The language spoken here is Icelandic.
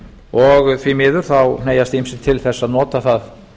og því miður hneigjast ýmsir til þess að nota það